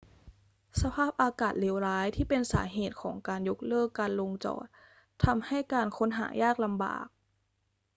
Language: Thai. สภาพอากาศเลวร้ายที่เป็นสาเหตุของการยกเลิกการลงจอดทำให้การค้นหายากลำบาก